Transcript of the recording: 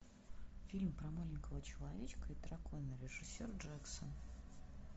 фильм про маленького человечка и дракона режиссер джексон